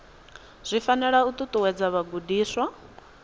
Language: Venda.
zwi fanela u ṱuṱuwedza vhagudiswa